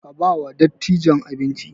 Ka ba wa dattijan abinci!